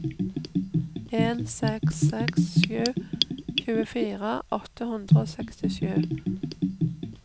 en seks seks sju tjuefire åtte hundre og sekstisju